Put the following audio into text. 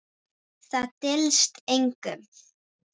Það dylst engum.